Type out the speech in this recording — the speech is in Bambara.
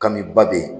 Kami ba be yen